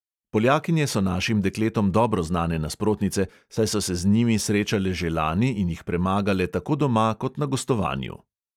Poljakinje so našim dekletom dobro znane nasprotnice, saj so se z njimi srečale že lani in jih premagale tako doma kot na gostovanju.